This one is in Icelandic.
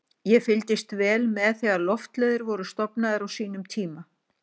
Ég fylgdist vel með þegar Loftleiðir voru stofnaðar á sínum tíma.